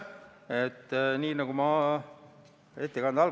Seni on olnud nii, et kõiki niisuguseid viltuläinud asju on menetletud ja parandatud.